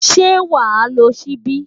Ṣé wàá lo ṣíbí?